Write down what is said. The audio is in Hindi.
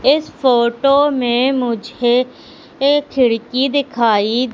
इस फोटो मे मुझे एक खिड़की दिखाई--